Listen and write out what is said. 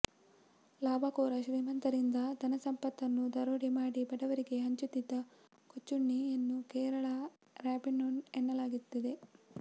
ಲಾಭಕೋರ ಶ್ರೀಮಂತರಿಂದ ಧನಸಂಪತ್ತನ್ನು ದರೋಡೆ ಮಾಡಿ ಬಡವರಿಗೆ ಹಂಚುತ್ತಿದ್ದ ಕೊಚ್ಚುಣ್ಣಿ ಯನ್ನು ಕೇರಳದ ರಾಬಿನ್ಹುಡ್ ಎನ್ನಲಾಗುತ್ತಿದೆ